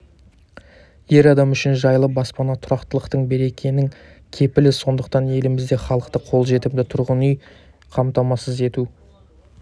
әр адам үшін жайлы баспана тұрақтылықтың берекенің кепілі сондықтан елімізде халықты қолжетімді тұрғын үймен қамтамасыз ету